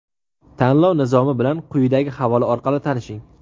Tanlov Nizomi bilan quyidagi havola orqali tanishing!.